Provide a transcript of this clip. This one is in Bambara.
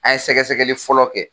An ye sɛgɛ sɛgɛli fɔlɔ kɛ.